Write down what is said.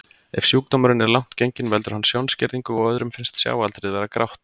Ef sjúkdómurinn er langt genginn veldur hann sjónskerðingu og öðrum finnst sjáaldrið vera grátt.